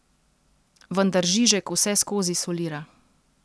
Vendar Žižek vseskozi solira.